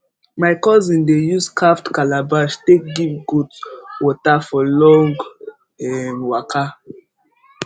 my cousin dey use carved calabash take give goat water for long waka